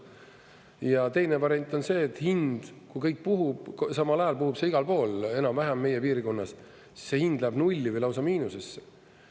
Ja teine variant on see, et hind, kui kõik puhub, samal ajal puhub see igal pool enam-vähem meie piirkonnas, siis see hind läheb nulli või lausa miinusesse.